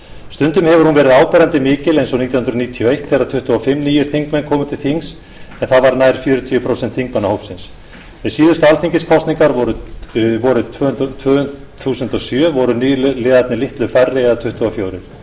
stundum hefur hún verið áberandi mikil eins og nítján hundruð níutíu og eitt þegar tuttugu og fimm nýir þingmenn komu til þings en það var nær fjörutíu prósent þingmannahópsins við síðustu alþingiskosningar vorið tvö þúsund og sjö voru nýliðarnir litlu færri eða tuttugu og fjögur